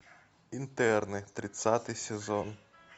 интерны тридцатый сезон